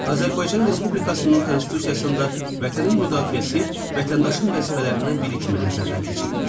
Azərbaycan Respublikasının Konstitusiyasında vətənin müdafiəsi vətəndaşın vəzifələrindən biri kimi nəzərdən keçirilir.